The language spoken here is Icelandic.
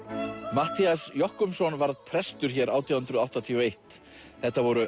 Matthías Jochumsson varð prestur hér átján hundruð áttatíu og eitt þetta voru